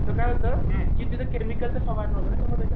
तर काय होतं तिथं केमिकलचा फवारणी होते त्यामुळं